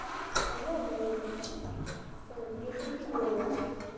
кому нужен пишите в лс